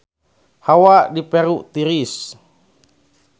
Hawa di Peru tiris